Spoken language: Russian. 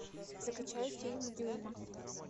закачай фильм дюйма